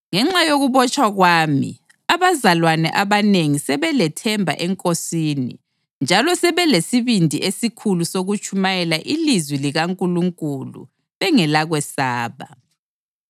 Ngenxa yokubotshwa kwami, abazalwane abanengi sebelethemba eNkosini njalo sebelesibindi esikhulu sokutshumayela ilizwi likaNkulunkulu bengelakwesaba.